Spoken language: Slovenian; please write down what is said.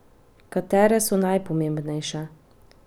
Katere so najpomembnejše?